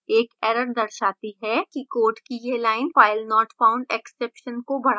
एक error दर्शाती है कि code की यह line filenotfoundexception को बढ़ा सकती है